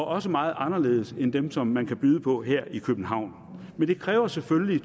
også meget anderledes end dem som man kan byde på her i københavn men det kræver selvfølgelig